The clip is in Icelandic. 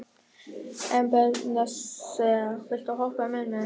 Ebeneser, viltu hoppa með mér?